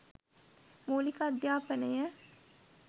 මූලික අධ්‍යාපනය